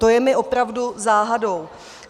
To je mi opravdu záhadou.